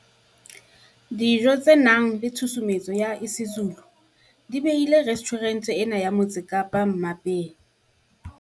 Dijo tse nang le tshusumetso ya isiZulu di behile restjhurente ena ya Motse Kapa mmapeng.